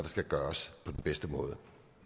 skal gøres på den bedste måde